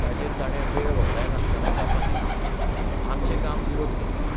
ताचेर ताणे वेळ वगडायनासतना जापा दिली " आमचें काम विरोध करपाचें.